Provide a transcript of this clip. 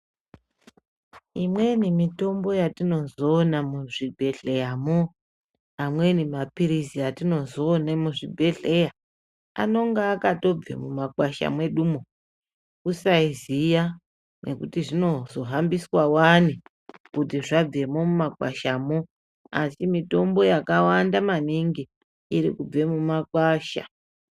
Imweni mitombo yatinozoona muzvibhedhleramo amweni maphirizi atinozoone muzvibhedhlera anonga akatobve mumakwasha mwedumwo kusaziya nekuti zvinozohambiswawo Wani kuti zvabvemo mumakwashamo asi mitombo yakawanda maningi irikubve mumakwasha.